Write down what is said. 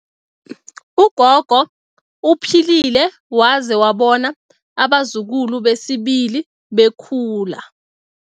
Ugogo uphilile waze wabona abazukulu besibili bakhula.